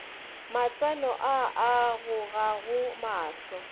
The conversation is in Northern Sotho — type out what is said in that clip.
matseno a a gogago mahlo